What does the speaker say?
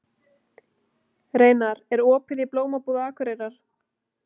Reynar, er opið í Blómabúð Akureyrar?